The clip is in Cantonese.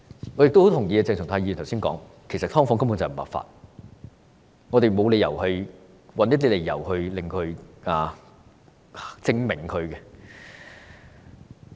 我十分贊同鄭松泰議員剛才所說，其實"劏房"根本不合法，我們沒有理由要尋找一些理由來為它正名。